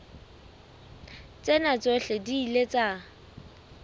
tsena tsohle di ile tsa